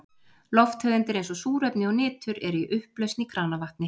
Lofttegundir eins og súrefni og nitur eru í upplausn í kranavatni.